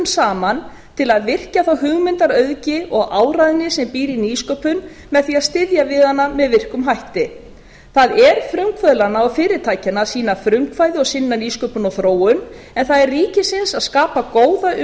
saman til að virkja þá hugmyndaauðgi og áræðni sem býr í nýsköpun með því að styðja við hana með virkum hætti það er frumkvöðlanna og fyrirtækjanna að sýna frumkvæði og sinna nýsköpun og þróun en það er ríkisins að skapa góða